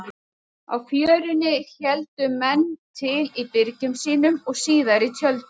Á Fjörunni héldu menn til í byrgjum sínum og síðar í tjöldum.